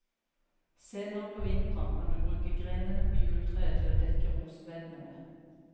Senere på vinteren kan du bruke grenene på juletreet til å dekke rosebedene med.